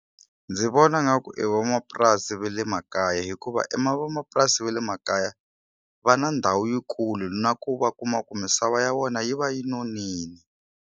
Ndzi vona ngaku i vanapurasi ve le makaya hikuva vamapurasi ve le makaya va na ndhawu yikulu na ku va kuma ku misava ya vona yi va yi nonile.